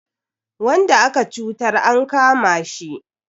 Wanda aka cutar an kama shi.